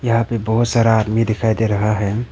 यहां पे बहुत सारा आदमी दिखाई दे रहा है।